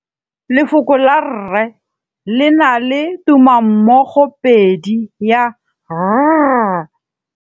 Lefoko la rre, le na le tumammogôpedi ya, r.